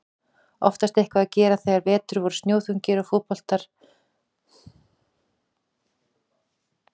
Oftast eitthvað að gera þegar vetur voru snjóþungir og snjóboltar gerðust ágengir við útidyrahurðir.